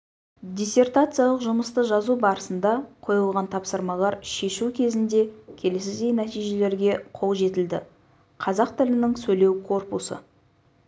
диссертациялық жұмысты жазу барысында қойылған тапсырмалар шешу кезінде келесідей нәтижелерге қол жетілді қазақ тілінің сөйлеу корпусы